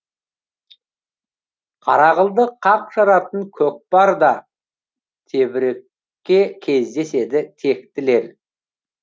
қара қылды қақ жаратын көкпарда тебірікке кездеседі тектілер